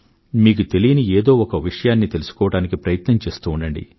మీకు తెలియని ఏదో ఒక విషయాన్ని తెలుసుకోవడానికి ప్రయత్నం చేస్తూ ఉండండి